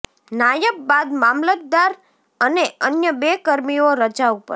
નાયબ બાદ મામલતદાર અને અન્ય બે કર્મીઓ રજા ઉપર